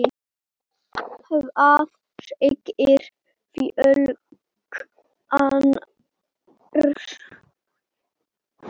Hvað segir fólk annars?